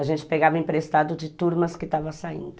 A gente pegava emprestado de turmas que estavam saindo.